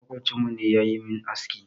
Maƙwabcinmu ne ya yi min aski.